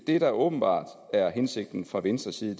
det der åbenbart er hensigten fra venstres side